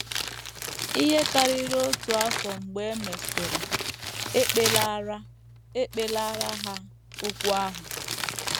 Ihe karịrị otu afọ mgbe e mesịrị, e kpelaara, e kpelaara ha okwu ahụ.